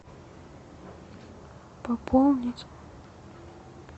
пополнить